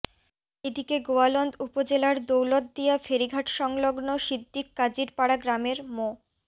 এদিকে গোয়ালন্দ উপজেলার দৌলতদিয়া ফেরিঘাটসংলগ্ন সিদ্দিক কাজীরপাড়া গ্রামের মো